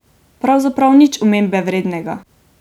Pravzaprav nič omembe vrednega.